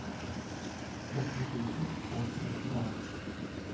tretten tusen og femtifem